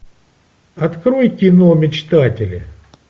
открой кино мечтатели